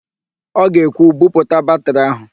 Ọ ga-ekwu, "buputa batịrị áhụ̀"!